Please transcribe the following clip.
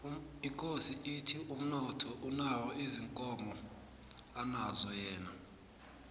ikosi ithi umnotho anawo ziinkomo anazo yena